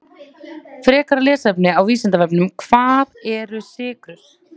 Frekara lesefni á Vísindavefnum: Hvað eru sykrur?